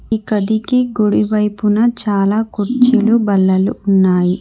ఈ గదికి గుడి వైపున చాలా కుర్చీలు బల్లలు ఉన్నాయి.